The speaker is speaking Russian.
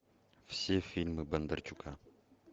все фильмы бондарчука